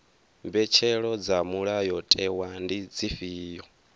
mbetshelo dza mulayotewa ndi dzifhio